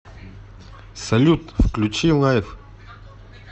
салют включи лайф